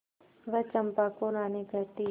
वह चंपा को रानी कहती